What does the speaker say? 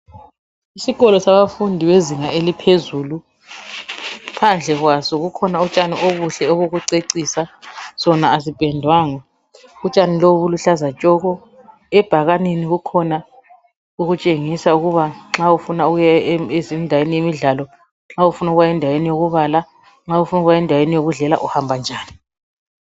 Isikolo sabafundi bezinga eliphezulu phandle kwaso kukhona utshani obuhle bokucecisa sona asipendwanga utshani lobu buluhlaza tshoko ebhakaneni kukhona okutshengisa ukuba nxa ufuna ukuya endaweni yemidlalo, nxa ufuna ukuya endaweni yokubala endaweni yokudlela uhamba njani.